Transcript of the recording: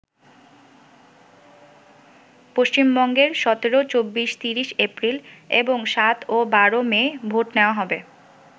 পশ্চিমবঙ্গে ১৭, ২৪, ৩০ এপ্রিল এবং ৭ ও ১২ মে ভোট নেওয়া হবে।